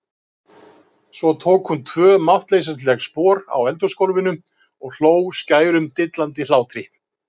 Svo tók hún tvö máttleysisleg spor á eldhúsgólfinu og hló skærum dillandi hlátri.